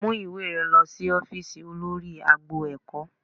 Mú ìwé rẹ lọ sí ófíìsì olórí agbo ẹ̀kọ́